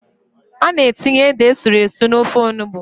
A na-etinye ede esuru esu n'ofe onugbo.